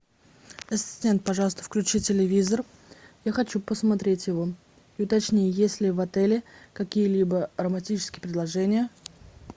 ассистент пожалуйста включи телевизор я хочу посмотреть его и уточни есть ли в отеле какие либо романтические предложения